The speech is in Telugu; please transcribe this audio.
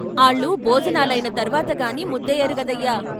" ఆళ్ళు భోజనాలయిన తర్వాతగాని ముద్దెయ్యరు గదయ్యా.